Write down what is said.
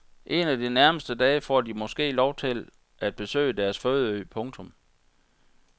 En af de nærmeste dage får de måske lov til at besøge deres fødeø. punktum